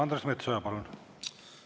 Andres Metsoja, palun!